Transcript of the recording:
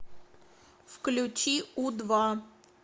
включи у два